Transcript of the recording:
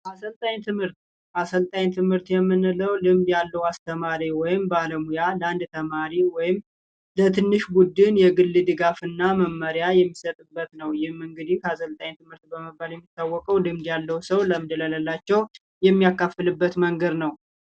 አሰልጣኝ ትምህር፦ አሰልጣኝ ትምህርት የምንለው ልምድ ያለው አስተማሪ ወይንም ባለሙያ ለአንድ ተማሪ ወይንም ለትንሽ ቡድን ልዩ ድጋፍና መመሪያ የሚሰጥበት ነው። ይህ እንግዲህ አሰልጣኝ ትምህርት በመባል የሚታወቀው ልምድ ያለው ሰው ልምዱን የሚያከፍልበት መንገድ ነው።